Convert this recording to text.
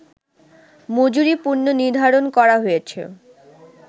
মজুরি পুন:নির্ধারণ করা হয়েছে